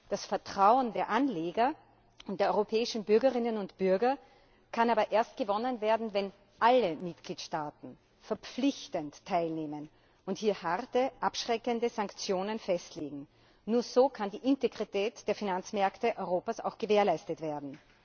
Das Vertrauen der Anleger und der europäischen Bürgerinnen und Bürger kann aber erst gewonnen werden, wenn alle Mitgliedstaaten verpflichtend teilnehmen und hier harte, abschreckende Sanktionen festlegen. Nur so kann die Integrität der Finanzmärkte Europas auch gewährleistet werden.